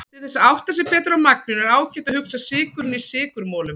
Til þess að átta sig betur á magninu er ágætt að hugsa sykurinn í sykurmolum.